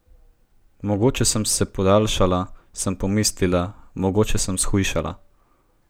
Mogoče sem se podaljšala, sem pomislila, mogoče sem shujšala.